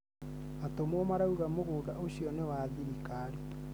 Atũmwo marauga mũgũnda ũcio nĩ wa thirikari